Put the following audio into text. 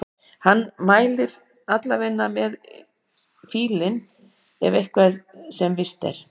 Hann mætir allavega með fílinn það er eitt sem víst er.